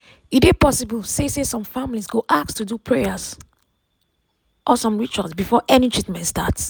e dey possible say say some families go ask to do prayer or some rituals before any treatment start.